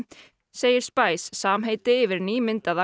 segir samheiti yfir nýmyndaða